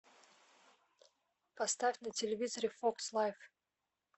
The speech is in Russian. поставь на телевизоре фокс лайф